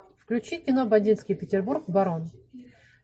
включи кино бандитский петербург барон